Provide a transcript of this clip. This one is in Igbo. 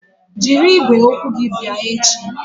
Jiri igwe okwu gị bịa echi!